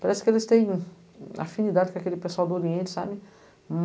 Parece que eles têm afinidade com aquele pessoal do Oriente, sabe?